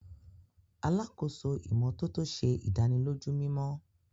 Alàkóso ìmọ́tótó ṣe ìdánilójú mimọ.